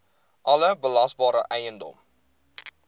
alle belasbare eiendom